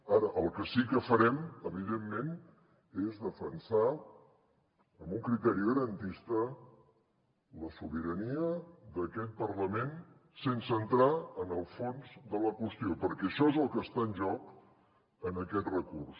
ara el que sí que farem evidentment és defensar amb un criteri garantista la sobirania d’aquest parlament sense entrar en el fons de la qüestió perquè això és el que està en joc en aquest recurs